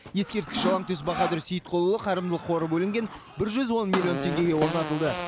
ескерткіш жалаңтөс баһадүр сейітқұлұлы қайырымдылық қоры бөлінген бір жүз он миллион теңгеге орнатылды